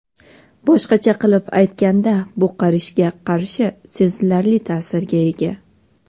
Boshqacha qilib aytganda, bu qarishga qarshi sezilarli ta’sirga ega.